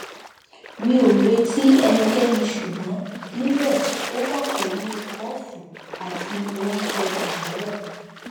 mi o reti ẹnikẹni ṣugbọn nibẹ o wa pẹlu kọfu ati ounjẹ aarọ